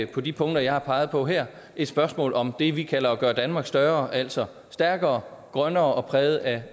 på de punkter jeg har peget på her et spørgsmål om det vi kalder at gøre danmark større altså stærkere grønnere og præget af